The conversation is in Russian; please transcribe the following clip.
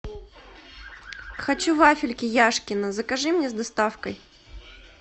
хочу вафельки яшкино закажи мне с доставкой